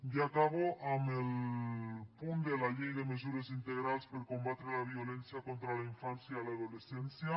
ja acabo amb el punt de la llei de mesures integrals per a combatre la violència contra la infància i l’adolescència